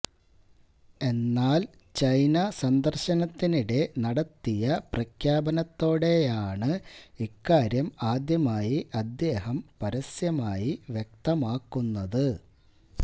എന്നാല് ചൈന സന്ദര്ശനത്തിനിടെ നടത്തിയ പ്രഖ്യാപനത്തോടെയാണ് ഇക്കാര്യം ആദ്യമായി അദ്ദേഹം പരസ്യമായി വ്യക്തമാക്കുന്നത്